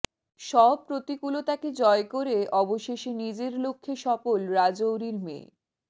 সব প্রতিকৃলতাকে জয় করে অবশেষে নিজের লক্ষ্যে সফল রাজৌরির মেয়ে